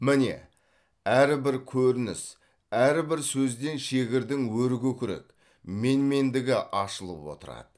міне әрбір көрініс әрбір сөзден шегірдің өркөкірек менмендігі ашылып отырады